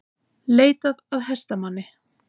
Leitað að hestamanni